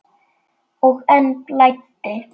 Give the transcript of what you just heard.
Og enn blæddi.